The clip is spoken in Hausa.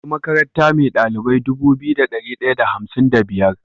Akwai makaranta me dalilbai Dubu biyu da dari daya da hamsin da biyar